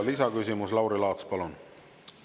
Lisaküsimus, Lauri Laats, palun!